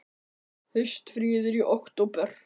Haustfríið er í október.